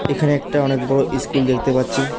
এখানে একটা অনেক বড়ো ইস্কুল দেখতে পাচ্ছি।